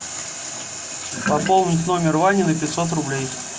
пополнить номер вани на пятьсот рублей